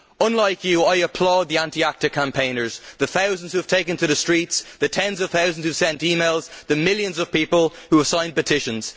Unlike you, I applaud the anti ACTA campaigners, the thousands who have taken to the streets, the tens of thousands who sent e mails, the millions of people who have signed petitions.